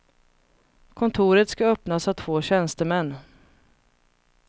Kontoret ska öppnas av två tjänstemän.